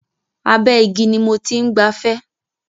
Abẹ́ igi ni mo ti ń gbafẹ́.